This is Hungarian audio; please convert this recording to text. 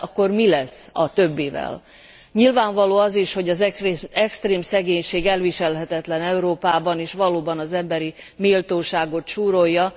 De akkor mi lesz a többivel? Nyilvánvaló az is, hogy az extrém szegénység elviselhetetlen Európában, és valóban az emberi méltóságot súrolja.